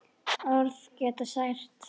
Orð geta sært.